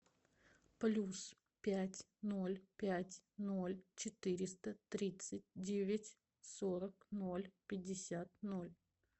плюс пять ноль пять ноль четыреста тридцать девять сорок ноль пятьдесят ноль